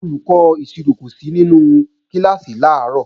Olùkọ́ ìṣirò kò sí nínú kíláàsì làárọ̀